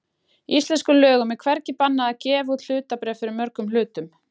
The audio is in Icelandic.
Í íslenskum lögum er hvergi bannað að gefa út eitt hlutabréf fyrir mörgum hlutum.